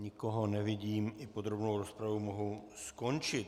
Nikoho nevidím, i podrobnou rozpravu mohu skončit.